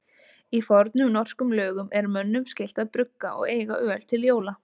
Í fornum norskum lögum er mönnum skylt að brugga og eiga öl til jóla.